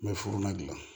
N bɛ furuna dilan